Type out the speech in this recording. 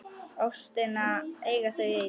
Ástina eiga þau ein.